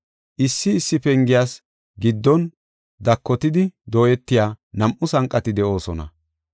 Issi issi pengiyas giddon daakotidi dooyetiya nam7u sanqati de7oosona.